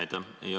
Aitäh!